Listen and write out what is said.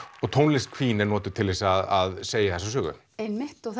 og tónlist Queen er notuð til þess að segja þessa sögu einmitt og